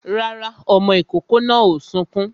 Rárá, ọmọ ìkòkò náà ò sunkún